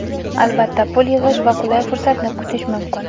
Albatta pul yig‘ish va qulay fursatni kutish mumkin.